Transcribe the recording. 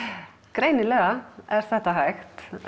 greinilega er þetta hægt